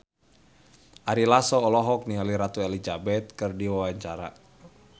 Ari Lasso olohok ningali Ratu Elizabeth keur diwawancara